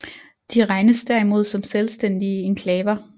De regnes derimod som selvstændige enklaver